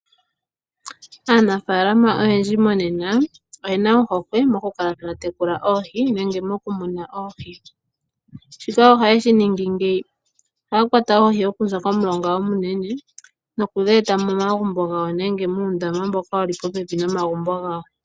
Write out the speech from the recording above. Aanafaalama oyendji monena oye na ohokwe mokukala taya tekula oohi nenge mokumuna oohi. Shika ohaye shi ningi ngaaka: ohaya kwata oohi okuza komulonga omunene noku dhi eta momagumbo gawo, nenge muundama mboka wu li popepi nomagumbo gawo.